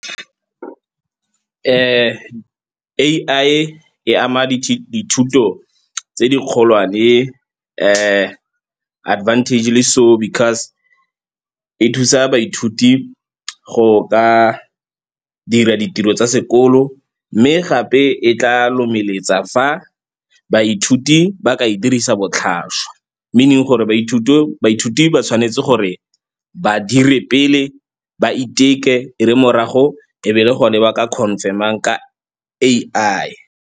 A_I e ama dithuto tse di kgolwane advantagely so because e thusa baithuti go ka dira ditiro tsa sekolo. Mme gape e tla lomeletsa fa baithuti ba ka e dirisa botlhaswa meaning gore baithuti ba tshwanetse gore ba dire pele ba iteke, e re morago e be le gone ba ka confirm-ang ka A_I.